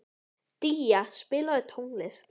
Día, spilaðu tónlist.